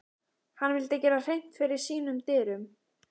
Hann vildi gera hreint fyrir sínum dyrum.